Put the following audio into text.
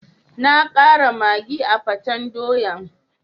Na kara maggi a'peten doyan.